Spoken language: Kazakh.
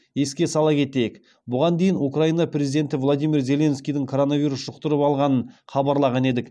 еске сала кетейік бұған дейін украина президенті владимир зеленскийдің коронавирус жұқтырып алғанын хабарлаған едік